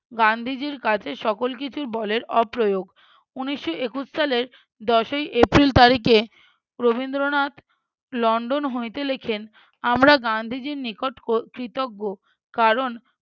গান্ধীজীর কাছে সকল কিছু বলের অপ্রয়োগ। উনিশশো একুশ সালে দশই april তারিখে রবীন্দ্রনাথ লন্ডন হইতে লেখেন আমরা গান্ধীজির নিকট হয়~ কৃতজ্ঞ, কারণ